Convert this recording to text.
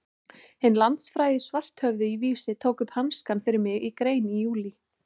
Hinn landsfrægi Svarthöfði í Vísi tók upp hanskann fyrir mig í grein í júlí.